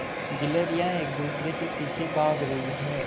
गिल्हरियान एक दूसरे के पीछे भाग रहीं है